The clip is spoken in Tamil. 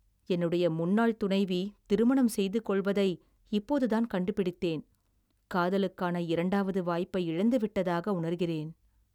என்னுடைய முன்னாள் துணைவி திருமணம் செய்து கொள்வதை இப்போதுதான் கண்டுபிடித்தேன், காதலுக்கான இரண்டாவது வாய்ப்பை இழந்துவிட்டதாக உணர்கிறேன்.